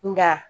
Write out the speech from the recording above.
Nka